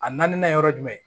A na na yɔrɔ jumɛn